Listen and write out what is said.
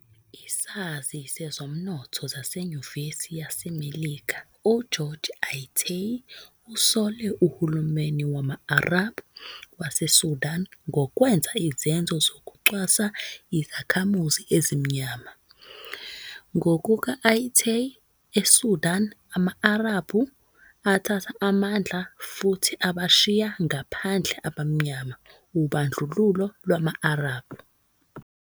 Isazi sezomnotho saseNyuvesi yaseMelika uGeorge Ayittey usole uhulumeni wama-Arab waseSudan ngokwenza izenzo zokucwasa izakhamuzi ezimnyama. Ngokuka-Ayittey, "ESudanama-Arabhu athatha amandla futhi abashiya ngaphandle abamnyama - ubandlululo lwama-Arab."